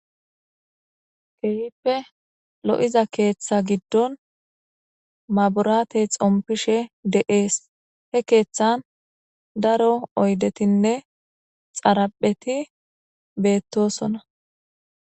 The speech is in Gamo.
keyippe lo7iza keeththa giddon maburaate xompishe de7ees he keeththan daro oydetinne xarapheti beettosona